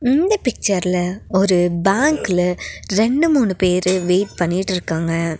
இந்த பிச்சர்ல ஒரு பேங்க்ல ரெண்டு மூணு பேரு வெயிட் பண்ணிட்ருக்காங்க.